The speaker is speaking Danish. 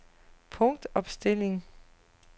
punktopstilling